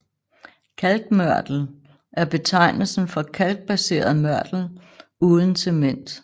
Kalkmørtel er betegnelsen for kalkbaseret mørtel uden cement